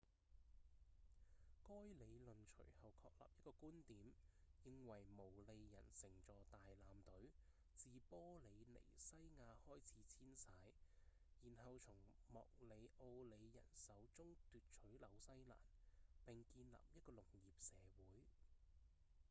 該理論隨後確立一個觀點認為毛利人乘坐大艦隊自玻里尼西亞開始遷徙然後從莫里奧里人手中奪取紐西蘭並建立一個農業社會